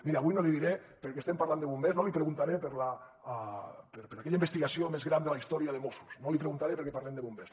miri avui no l’hi diré perquè estem parlant de bombers no li preguntaré per aquella investigació més gran de la història de mossos no l’hi preguntaré perquè parlem de bombers